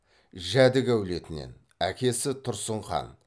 жәдік әулетінен әкесі тұрсын хан